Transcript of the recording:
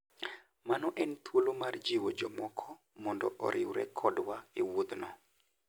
Mano en thuolo mar jiwo jomoko mondo oriwre kodwa e wuodhno.